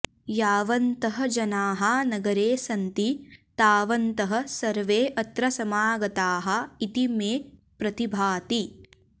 यावन्तः जनाः नगरे सन्ति तावन्तः सर्वे अत्र समागताः इति मे प्रतिभाति